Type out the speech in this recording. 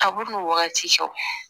Kab'u wagati sɔrɔ